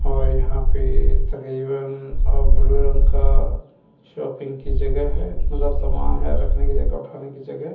और यहां पे तकरीबन अह ब्लू रंग का शॉपिंग की जगह है मतलब सामान है रखने की जगह उठाने की जगह।